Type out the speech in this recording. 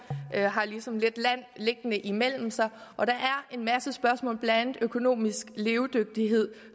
har ligesom lidt land liggende imellem sig og der er en masse spørgsmål blandt økonomisk levedygtighed